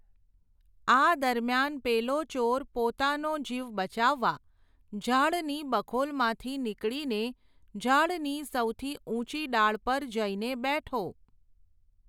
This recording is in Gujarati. આ દરમિયાન પેલો ચોર પોતાનો જીવ બચાવવા,, ઝાડની બખોલમાંથી નીકળીને ઝાડની સૌથી ઊંચી ડાળ પર જઈને બેઠો.